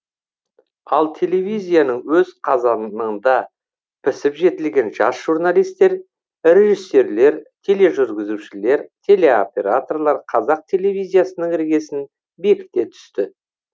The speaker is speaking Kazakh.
ал телевизияның өз қазаныңда пісіп жетілген жас журналистер режиссерлер тележүргізушілер телеоператорлар қазақ телевизиясының іргесін бекіте түсті